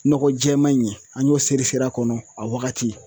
Nɔgɔ jɛɛma in ɲɛ an y'o seri seri a kɔnɔ a wagati